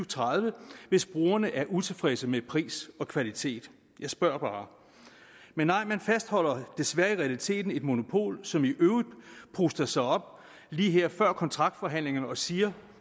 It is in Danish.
tredive hvis brugerne er utilfredse med pris og kvalitet jeg spørger bare men nej man fastholder desværre i realiteten et monopol som i øvrigt puster sig op lige her før kontraktforhandlingerne og siger